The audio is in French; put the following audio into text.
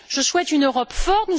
Je souhaite une Europe forte.